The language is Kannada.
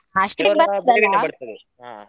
ಹಾ.